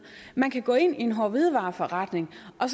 man kan gå ind i en hårde hvidevarer forretning og